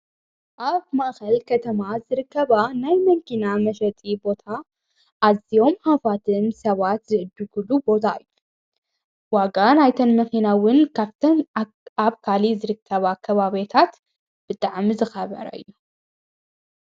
ኣብ ማእኸል ከተማ ዝርከባ ናይ መንኪና መሸጢ ቦታ ኣዚኦም ሃፋትም ሰዋት ዝእድጉሉ ቦታ ዩ ወጋ ናይተንመኺናውን ካብተም ኣብ ካሊ ዝርከባ ከባቤታት ብጥዐሚ ዝኸበረ እዩ።